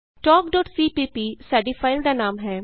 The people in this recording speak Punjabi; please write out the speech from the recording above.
talkਸੀਪੀਪੀ ਸਾਡੀ ਫਾਈਲ ਦਾ ਨਾਮ ਹੈ